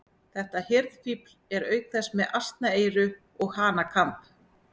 Þetta hirðfífl er auk þess með asnaeyru og hanakamb.